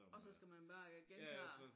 Og så skal man bare øh gentage